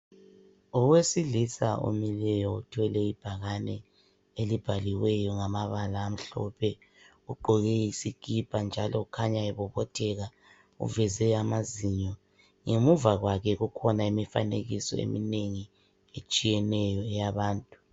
Owesilisa omileyo othwele ibhakane elibhaliweyo ngamabala amhlophe ugqoke isikipa njalo ukhanya ebobotheka uveze amazinyo ngemuva kwakhe kukhona imifanekiso eminengi etshiyeneyo yabantu.